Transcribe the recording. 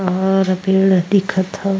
और पेड़ दिखत हव।